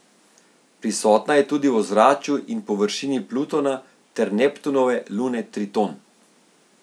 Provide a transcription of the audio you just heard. Prisotna je tudi v ozračju in površini Plutona ter Neptunove lune Triton.